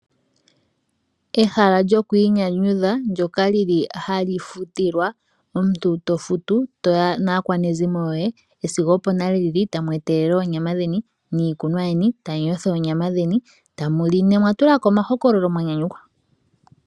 Kehala lyokwiinyanyudha ndoka hali futilwa, omuntu tofutu, toya naakwanezimo yo ye , esiga opo nale lili , taa mwetelele eenyama dheni niikunwa yeni tamuyotha onyama dheni , tamuli nomwatulako omahokolo mwanyanyukwa.